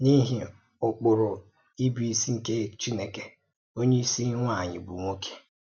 N’íhì ụ́kpụrụ̀ íbùísí nke Chìnèkè: “Onyé ísì nwànyị bụ̀ nwọ̀ké.